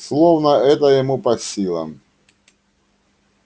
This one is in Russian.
словно это ему по силам